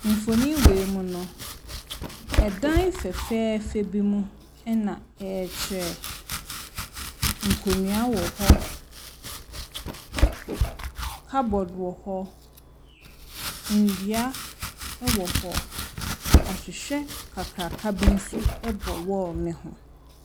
Mfonin wei mu no, dan fɛfɛɛfɛ bi mu na ɛrekyerɛ. Nkonnua wɔ hɔ. Cupboard wɔ hɔ. Nnua wɔ hɔ. Ahwehwɛ kakraka bi nso bɔ wall no ho.